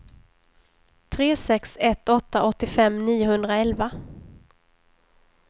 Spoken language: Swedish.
tre sex ett åtta åttiofem niohundraelva